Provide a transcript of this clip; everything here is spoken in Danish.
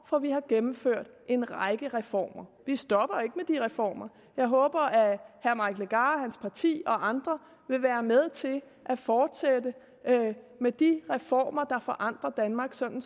for vi har gennemført en række reformer vi stopper jo ikke med de reformer og jeg håber at herre mike legarth og hans parti og andre vil være med til at fortsætte med de reformer der forandrer danmark sådan